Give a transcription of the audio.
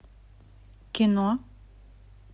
кино